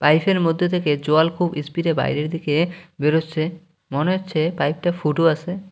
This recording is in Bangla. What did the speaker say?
পাইপ -এর মধ্যে থেকে জল খুব স্পিড -এ বাইরে দিকে বেরোচ্ছে মনে হচ্ছে পাইপ -টা ফুটো আছে।